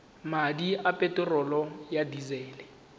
madi a peterolo ya disele